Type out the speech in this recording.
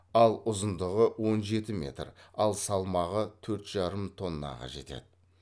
ал ұзындығы он жеті метр ал салмағы төрт жарым тоннаға жетеді